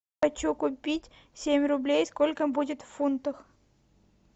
хочу купить семь рублей сколько будет в фунтах